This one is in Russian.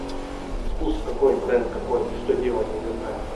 вкус какой бренд какой что делать я не знаю